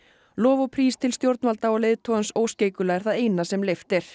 lof og prís til stjórnvalda og leiðtogans óskeikula er það eina sem leyft er